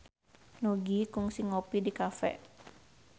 Nugie kungsi ngopi di cafe